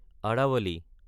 Aravalli